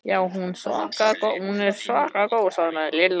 Já, hún er svaka góð svaraði Lilla.